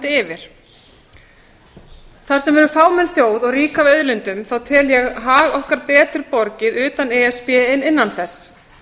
yfir þar sem við erum fámenn þjóð og rík af auðlindum tel ég hag okkar betur borgið utan e s b en innan þess